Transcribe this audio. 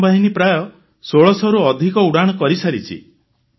ବିମାନ ବାହିନୀ ପ୍ରାୟ 1600ରୁ ଅଧିକ ସୋର୍ଟିସ କରିସାରିଛି